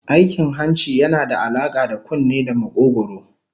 Aikin hanci yana da alaka da kunne da makogwaro